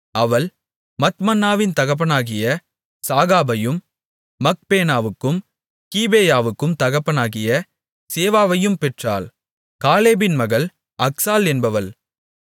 அவள் மத்மன்னாவின் தகப்பனாகிய சாகாபையும் மக்பேனாவுக்கும் கீபேயாவுக்கும் தகப்பனாகிய சேவாவையும் பெற்றாள் காலேபின் மகள் அக்சாள் என்பவள்